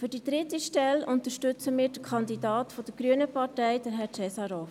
Für die dritte Stelle unterstützen wir den Kandidaten der grünen Partei, Herrn Cesarov.